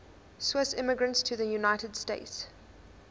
swiss immigrants to the united states